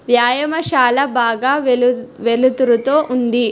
వ్యాయామశాల బాగా వెలు వెలుతురుతో ఉంది.